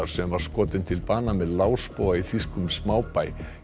sem var skotinn til bana með í þýskum smábæ